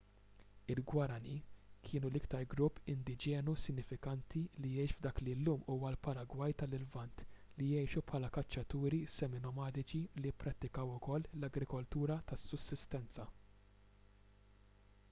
il-guaraní kienu l-iktar grupp indiġenu sinifikanti li jgħix f’dak li llum huwa l-paragwaj tal-lvant li jgħixu bħala kaċċaturi semi-nomadiċi li pprattikaw ukoll l-agrikoltura ta’ sussistenza